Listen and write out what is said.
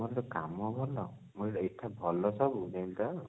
ଆମର ସେଠି କାମ ଭଲ ଏତେ ଭଲ ସବୁ ଏଇତ